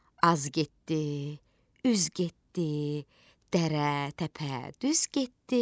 Az getdi, üz getdi, dərə, təpə düz getdi.